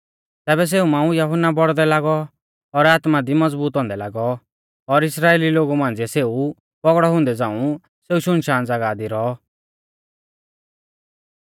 तैबै सेऊ मांऊ यहुन्ना बौड़दै लागौ और आत्मा दी मज़बूत औन्दै लागौ और इस्राइली लोगु मांझ़िऐ सेऊ पौगड़ौ हुंदै झ़ांऊ सेऊ शुनशान ज़ागाह दी रौ